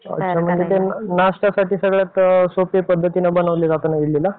अच्छा मग नाष्ट्यासाठी सगळ्यात सोप्या पद्धतीने बनवल्या जातं ना त्या इडलीला?